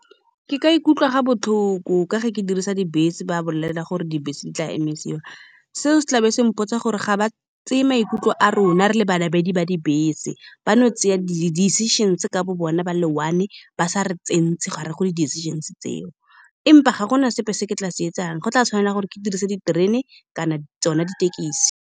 Ke ka ikutlwa ga botlhoko ka ge ke dirisa dibese. Ba bolela gore dibese di tla emisiwa. Seo se tlabe se mpotsa gore ga ba tseye maikutlo a rona re le ba namedi ba dibese. Ba no tsaya di di-decisions-e ka bo bone, ba le one, ba sa re gare go di di-decisions-e tseo, empa ga gona sepe se ke tla se etsang. Go tla tshwanela gore ke dirise diterene kana tsone dithekisi.